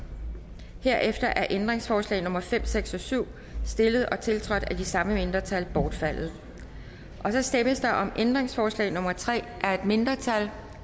herefter er ændringsforslag nummer fem seks og syv stillet og tiltrådt af de samme mindretal bortfaldet så stemmes der om ændringsforslag nummer tre af et mindretal